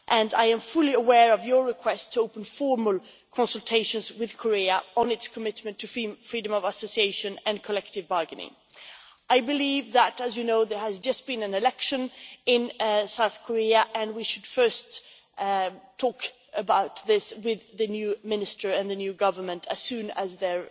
I am fully aware of your request to open formal consultations with Korea on its commitment to freedom of association and collective bargaining. I believe that, as you know, there has just been an election in South Korea, and we should first talk about this with the new minister and the new government as soon as they